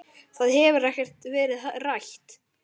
Það hefur ekkert verið rætt.